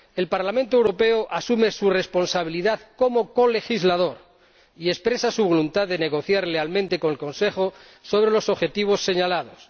El Parlamento Europeo asume su responsabilidad como colegislador y expresa su voluntad de negociar lealmente con el Consejo sobre los objetivos señalados.